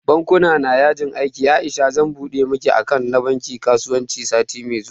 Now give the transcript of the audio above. Bankuna na yajin aiki Aisha zan buɗe miki akant da bankin kasuwanci sati mai zuwa